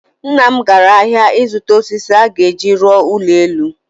Nna m gara ahịa ịzụta osisi ọ ga-eji rụọ ụlọ elu